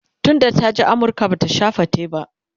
tun da ta je amurka Bata Sha fate ba